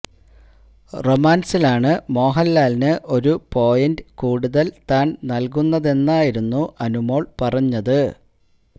റൊമാന്സിലാണ് മോഹന്ലാലിന് ഒരു പോയിന്റ് കൂടുതല് താന് നല്കുന്നതെന്നായിരുന്നു അനുമോള് പറഞ്ഞത്